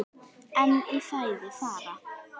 En í fæði fara